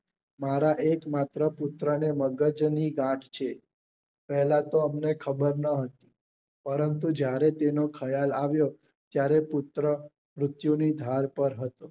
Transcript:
મારા એક માત્ર પુત્ર ને મગજ ની ગાંઠ છે પેહલા તો અમને ખબર નોહતી પરંતુ જયારે તેને ખ્યાલ આવ્યો ત્યારે પુત્ર મૃત્યુ ની ઢાલ પર હતો